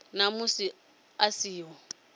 na musi a si ho